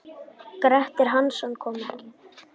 Grettir Hansson kom ekki.